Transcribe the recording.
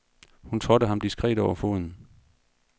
Hun trådte ham diskret over foden.